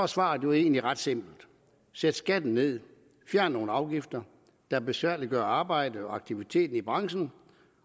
svaret jo egentlig ret simpelt sæt skatten ned og fjern nogle afgifter der besværliggør arbejdet og aktiviteten i branchen